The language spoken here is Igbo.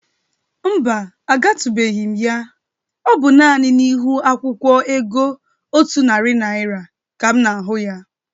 Mba, agatụbeghi ya. Ọ bụ nani n'ihu akwụkwọ ego Otu nati Naịra ka m na-ahụ ya.